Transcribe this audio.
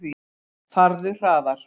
Farðu hraðar.